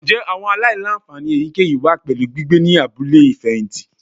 Njẹ awọn alailanfani eyikeyi wa pẹlu gbigbe ni abule ifẹhinti?